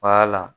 la